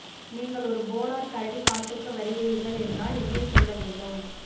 நீங்கள் ஒரு போலார் கரடி காட்டுக்கு வருகிறீர்கள் என்றால் எங்கே செல்ல வேண்டும்